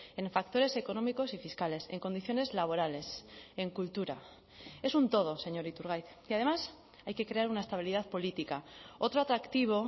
en factores económicos y fiscales en condiciones laborales en cultura es un todo señor iturgaiz y además hay que crear una estabilidad política otro atractivo